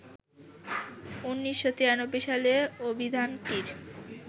১৯৯৩ সালে অভিধানটির